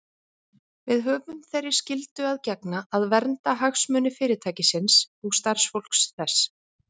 Við höfum þeirri skyldu að gegna að vernda hagsmuni Fyrirtækisins og starfsfólks þess.